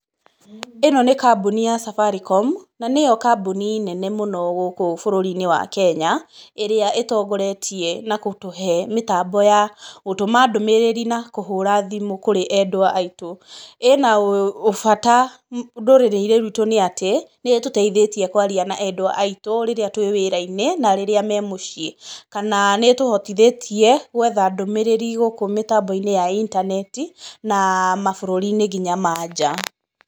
ĩno nĩ kambuni ya Safaricom, na nĩyo kambuni nene mũno gũkũ bũrũri-inĩ wa Kenya, ĩrĩa ĩtongoretie na gũtũhe mĩtambo ya gũtũma ndũmĩrĩri na kũhũra thimũ kũrĩ endwa aitũ. ĩna ũbata ndũrĩrĩ-inĩ rwitũ nĩ atĩ nĩ ĩtũteithĩtie kwaria na endwa aitũ rĩrĩa twĩ wĩra-inĩ na rĩrĩ me mũciĩ. Kana nĩ ĩtũhotithĩtie guetha ndũmĩrĩri gũkũ mĩtambo-inĩ ya intaneti na mabũrũri-inĩ nginya ma nja.